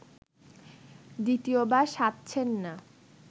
দ্বিতীয়বার সাধছেন না